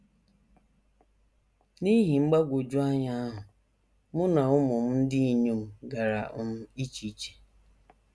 N’ihi mgbagwoju anya ahụ, mụ na ụmụ m ndị inyom gara um iche iche.